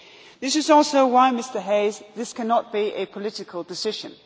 This is also why, Mr Hayes, this cannot be a political decision.